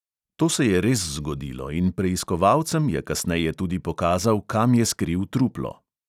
To se je res zgodilo in preiskovalcem je kasneje tudi pokazal, kam je skril truplo.